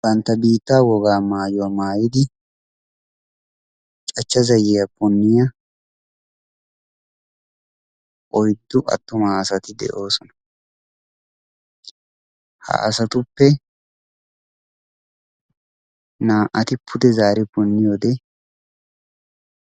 Bantta biittaa wogaa maayuwa maayidi cachcha zayyiya punniya oyddu attuma asati de"oosona. Ha asatuppe naa"ati pude zaari punniyode